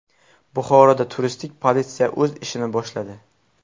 Buxoroda turistik politsiya o‘z ishini boshladi.